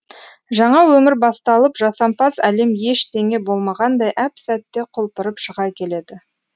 жаңа өмір басталып жасампаз әлем ештеңе болмағандай әп сәтте құлпырып шыға келеді